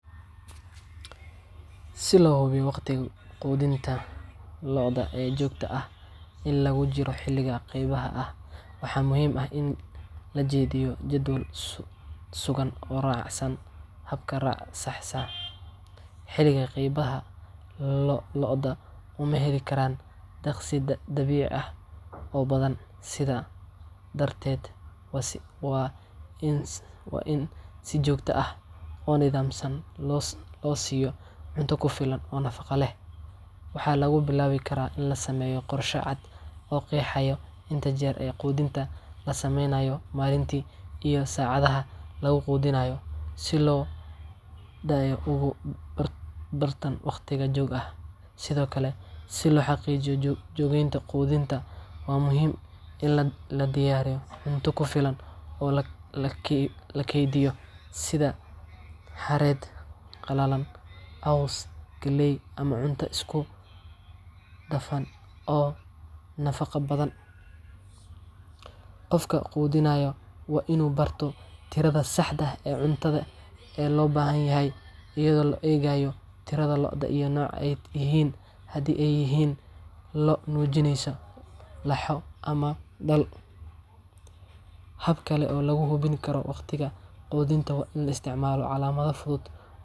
Si loo hubiyo waqtiga quudinta lo’da ee joogtada ah inta lagu jiro xilliga qabyada ah, waxaa muhiim ah in la dejiyo jadwal sugan oo raacsan hab-raac sax ah. Xilliga qabyada ah, lo’da uma heli karaan daaqsiin dabiici ah oo badan, sidaa darteed, waa in si joogto ah oo nidaamsan loo siiyo cunto ku filan oo nafaqo leh. Waxaa lagu bilaabi karaa in la sameeyo qorshe cad oo qeexaya inta jeer ee quudinta la samaynayo maalintii, iyo saacadaha lagu quudinayo, si lo’da ay ugu bartaan wakhti joogto ah. Sidoo kale, si loo xaqiijiyo joogtaynta quudinta, waxaa muhiim ah in la diyaariyo cunto ku filan oo la keydiyo, sida xareedda qallalan, caws, galley, ama cunto isku dhafan oo nafaqo badan. Qofka quudinaya waa inuu barto tirada saxda ah ee cunto ee loo baahan yahay, iyadoo loo eegayo tirada lo’da iyo nooca ay yihiin – haddii ay yihiin lo’ nuujinaysa, laxo, ama dhal. Hab kale oo lagu hubin karo waqtiga quudinta waa in la isticmaalo calaamado fudud.